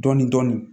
Dɔɔnin dɔɔnin